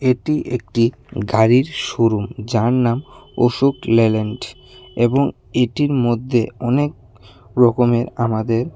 এটি একটি গাড়ির শোরুম যার নাম অশোক লেল্যান্ড এবং এটির মধ্যে অনেক রকমের আমাদের--